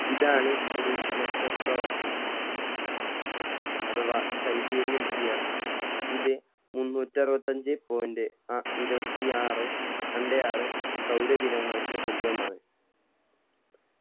ഇതാണ് ഒരു നക്ഷത്ര വർഷം അഥവാ sidereal year ഇത് മുന്നൂറ്ററുവത്തഞ്ചേ point ആ ഇരുവത്തി ആറ് രണ്ടേ ആറ് സൗരദിനങ്ങൾക്ക് തുല്യമാണ്